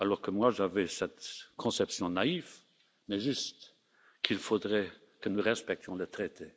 grec. Or, moi, j'avais cette conception naïve, mais juste, qu'il faudrait que nous respections le traité.